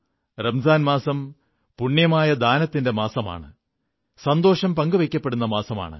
റംസാൻ മാസം പുണ്യമായ ദാനത്തിന്റെ മാസമാണ് സന്തോഷം പങ്കുവയ്ക്കപ്പെടുന്ന മാസമാണ്